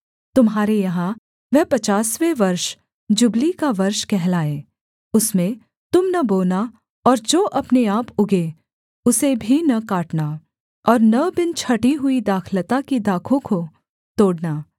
तुम्हारे यहाँ वह पचासवाँ वर्ष जुबली का वर्ष कहलाए उसमें तुम न बोना और जो अपने आप उगें उसे भी न काटना और न बिन छाँटी हुई दाखलता की दाखों को तोड़ना